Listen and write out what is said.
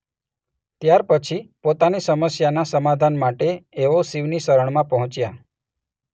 ત્યારપછી પોતાની સમસ્યાના સમાધાન માટે એઓ શિવની શરણમાં પંહોચ્યા.